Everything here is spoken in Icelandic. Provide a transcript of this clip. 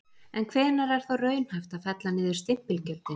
En hvenær er þá raunhæft að fella niður stimpilgjöldin?